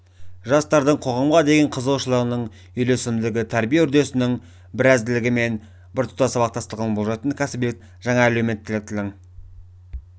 жастардың қоғамға деген қызығушылығының үйлесімділігі тәрбие үрдісінің бірізділігі мен біртұтас сабақтастығын болжайтын кәсібиліктің және әлеуметтіліктің